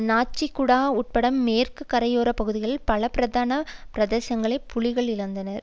நாச்சிக் குடா உட்பட மேற்கு கரையோர பகுதியில் பல பிரதான பிரதேசங்களை புலிகள் இழந்தனர்